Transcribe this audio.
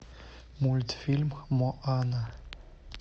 мультфильм моана